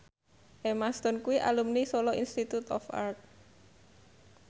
Emma Stone kuwi alumni Solo Institute of Art